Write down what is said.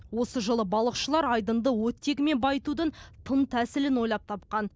осы жылы балықшылар айдынды оттегімен байытудың тың тәсілін ойлап тапқан